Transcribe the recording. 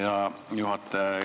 Hea juhataja!